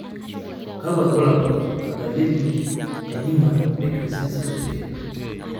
kakwa irbulabol o dalili e Niemann Pick disease type A?